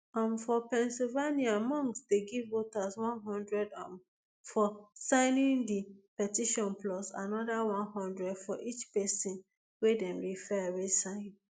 um for pennsylvania musk dey give voters one hundred um for signing di petition plus anoda one hundred for each pesin wey dem refer wey sign